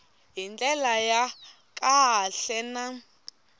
hi ndlela ya kahle na